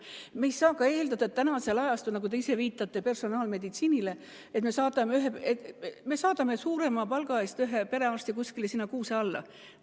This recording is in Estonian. Me ei saa eeldada – te viitasite personaalmeditsiinile –, et me saadame tänapäeval suurema palga eest ühe perearsti kuskile kuuse alla.